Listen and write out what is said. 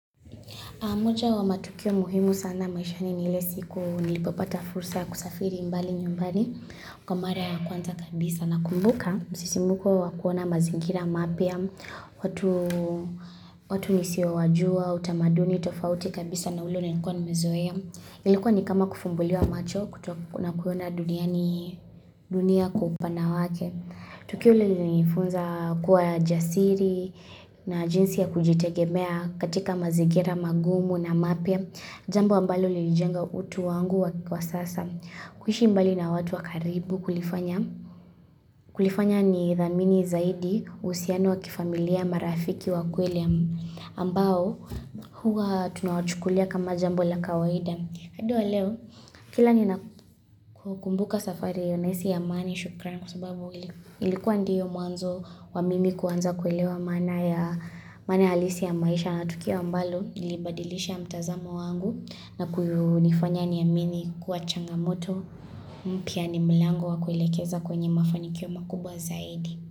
Moja wa matukio muhimu sana maishani ni ile siku nilipopata fursa ya kusafiri mbali nyumbani kwa mara ya kwanza kabisa nakumbuka. Sisimuko wa kuona mazingira mapya, watu nisiowajua, utamaduni tofauti kabisa na ule niliikuwa nimezoea. Ilikuwa ni kama kufumbuliwa macho na kuona duniani hii dunia kwa upana wake. Tukio lilinifunza kuwa jasiri na jinsi ya kujitegemea katika mazingira magumu na mapya Jambo ambalo lilijenga utu wangu wa sasa. Kuhishi mbali na watu wa karibu kulifanya ni dhamini zaidi uhusiano wa kifamilia marafiki wa kweli ambao huwa tunawachukulia kama jambo la kawaida. Hadi wa leo kila ninapokumbuka safari hio naisi amani shukrani kwa sababu ilikuwa ndiyo mwanzo wa mimi kuanza kuelewa maana alisi ya maisha na tukio ambalo lilibadilisha mtazamo wangu na kunifanya niamini kuwa changamoto mpya ni mlango wa kuelekeza kwenye mafanikio makubwa zaidi.